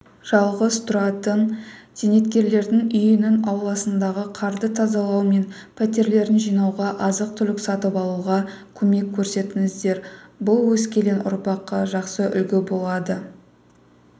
жалғыз тұратын зейнеткерлердің үйінің ауласындағы қарды тазалау мен пәтерлерін жинауға азық-түлік сатып алуға көмек көрсетсеңіздер бұл өскелең ұрпаққа жақсы үлгі болады